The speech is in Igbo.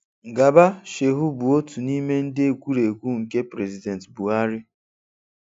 Garba Shehu bụ otu nime ndị ekwurekwu nke President Buha ri.